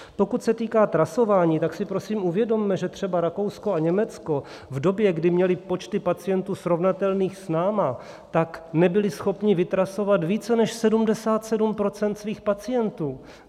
Pokud se týká trasování, tak si, prosím, uvědomme, že třeba Rakousko a Německo v době, kdy měli počty pacientů srovnatelné s námi, tak nebyli schopni vytrasovat více než 77 % svých pacientů.